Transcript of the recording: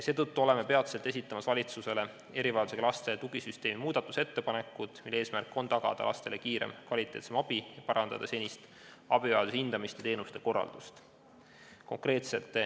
Seetõttu esitame peatselt valitsusele erivajadusega laste tugisüsteemi puudutavad muudatusettepanekud, mille eesmärk on tagada lastele kiirem ja kvaliteetsem abi ning parandada senist abivajaduse hindamist ja teenuste korraldamist.